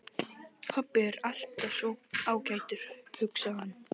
Pabbi er alltaf svo ágætur, hugsaði hann.